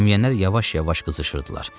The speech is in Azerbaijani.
Adam yeyənlər yavaş-yavaş qızışırdılar.